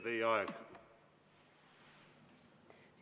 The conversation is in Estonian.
Teie aeg!